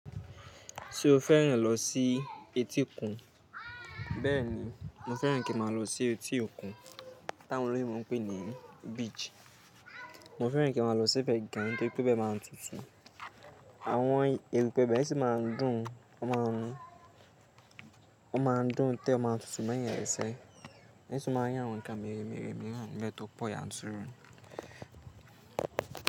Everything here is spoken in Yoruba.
Ṣé o fẹ́ràn lọ sí etíkun? Bẹ́ẹ̀ni, mo fẹ́ràn kí n máa lọ sí etí okùn. Táwọn olóyinbo ń pè ní beach. Mo fẹ́ràn kí n máa lọ síbẹ̀ gan, nítorí pé bẹ máa ń tutù. Àwọn erùpẹ̀ bẹ sì máa ń dùn, ó máa ń dùn tẹ́ o máa ń tutù mọyàn lẹsẹ́ẹ́. Eṣin máa ń yàn àwọn nǹkan mèremère mìíràn lẹ́tí po ya ń tún irun.